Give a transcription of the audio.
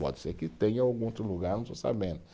Pode ser que tenha em algum outro lugar e eu não estou sabendo.